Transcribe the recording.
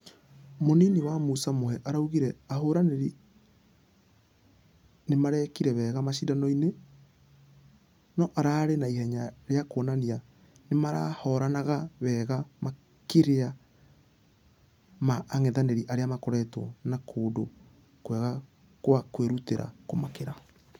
Mũnini wa musa muhe araugire ahũrani nĩmarĩkire wega mashidano-inĩ nũararĩ na ihenya rĩa kuonania nĩmarahoranaga wega makĩria ma angethanĩri arĩa makoretwo na kũndũ kwegakwakwĩrutĩra kũmakĩra.